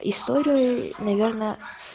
история наверное